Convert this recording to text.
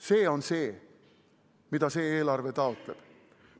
See on see, mida see eelarve taotleb.